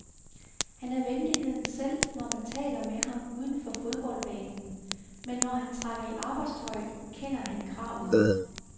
Han er venligheden selv, når man taler med ham uden for fodboldbanen, men når han trækker i arbejdstøjet, kender han kravet.